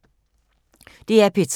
DR P3